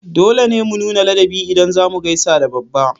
Dole ne mu nuna ladabi ida zamu gaisa da babba